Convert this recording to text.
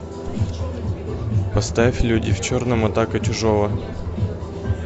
поставь люди в черном атака чужого